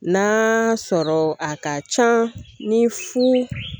Na sɔrɔ a ka can ni fo